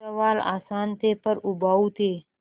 सवाल आसान थे पर उबाऊ थे